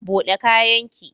Bude kayan ki!